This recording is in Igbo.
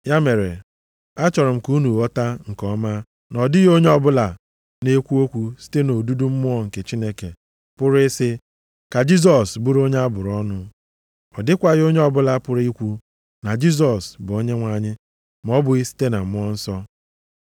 Ya mere, achọrọ m ka unu ghọta nke ọma na ọ dịghị onye ọbụla na-ekwu okwu site nʼodudu Mmụọ nke Chineke, pụrụ ị sị, “Ka Jisọs bụrụ onye a bụrụ ọnụ.” Ọ dịkwaghị onye ọbụla pụrụ ikwu, na “Jisọs bụ Onyenwe anyị,” ma ọ bụghị site na Mmụọ Nsọ.